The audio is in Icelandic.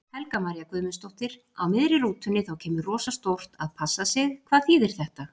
Helga María Guðmundsdóttir: Á miðri rútunni þá kemur rosa stórt.að passa sig, hvað þýðir þetta?